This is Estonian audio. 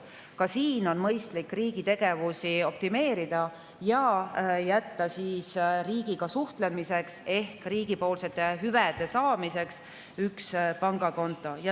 Ka siin on mõistlik riigi tegevusi optimeerida ja jätta riigiga suhtlemiseks ehk riigilt hüvede saamiseks üks pangakonto.